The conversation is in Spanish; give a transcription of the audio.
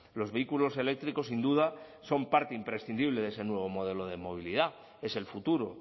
los vehículos eléctricos sin duda son parte imprescindible de ese nuevo modelo de movilidad es el futuro